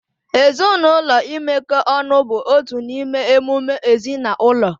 Ezinụlọ imekọ ọnụ bụ otu n'ime emume ezinaụlọ